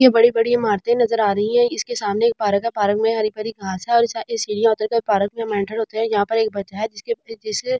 ये बड़ी-बड़ी इमारतें नजर आ रही है इसके सामने एक पार्क है पारक में हरी भरी घास है और सीढ़िया उतर कर हम पार्क मे एंटेर होते हैं जहां पर एक बचा है जिसके जिस --